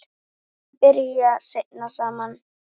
Þau byrja seinna saman.